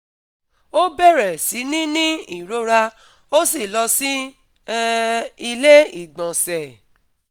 Ó bẹ̀rẹ̀ sí ní ní ìrora ó sì lọ sí um ilé-ìgbọ̀nsẹ̀